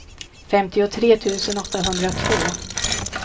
femtiotre tusen åttahundratvå